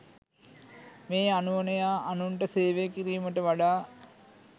මේ අනුවණයා අනුන්ට සේවය කිරීමට වඩා